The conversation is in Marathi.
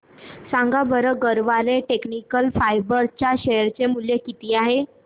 सांगा बरं गरवारे टेक्निकल फायबर्स च्या शेअर चे मूल्य किती आहे